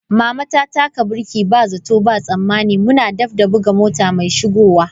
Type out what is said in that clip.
Mama ta taka birki ba zato ba tsammani muna daf da buga mota mai shigowa.